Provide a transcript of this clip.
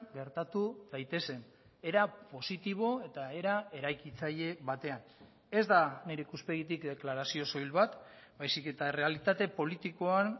gertatu daitezen era positibo eta era eraikitzaile batean ez da nire ikuspegitik deklarazio soil bat baizik eta errealitate politikoan